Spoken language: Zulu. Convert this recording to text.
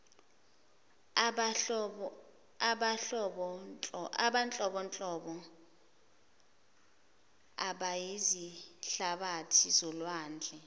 abanhlobonhlobo abayizihlabathi zolwandle